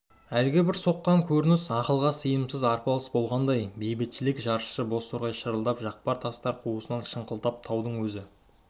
әлгі бір сойқан көрініс ақылға сыйымсыз арпалыс болмағандай бейбітшілік жаршысы бозторғай шырылдап жақпар тастар қуысынан шықылықтап таудың өз